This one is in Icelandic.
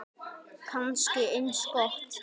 Kannski eins gott.